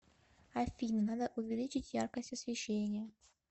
афина надо увеличить яркость освещения